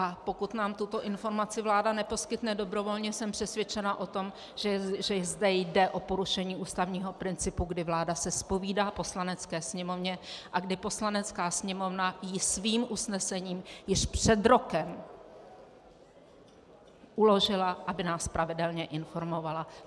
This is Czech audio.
A pokud nám tuto informaci vláda neposkytne dobrovolně, jsem přesvědčena o tom, že zde jde o porušení ústavního principu, kdy vláda se zpovídá Poslanecké sněmovně a kdy Poslanecká sněmovna jí svým usnesením již před rokem uložila, aby nás pravidelně informovala.